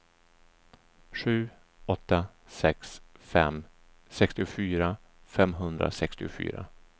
sju åtta sex fem sextiofyra femhundrasextiofyra